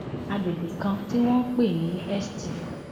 àgbègbè kan tí wọn ń pè ní st